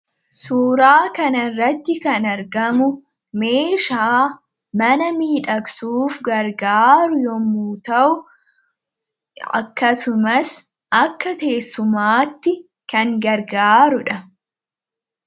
Suuraa kanaa gadii irratti kan argamu meeshaa mana miidhagsuuf kan fayyadu yoo ta'u akkasumas akka teessumaatti kan tajaaajilu dha.